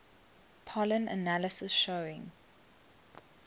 pollen analysis showing